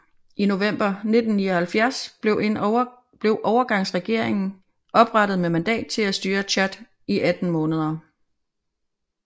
I november 1979 blev en overgangsregering oprettet med mandat til at styre Tchad i 18 måneder